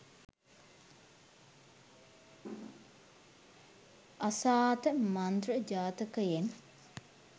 අසාත මන්ත්‍ර ජාතකයෙන්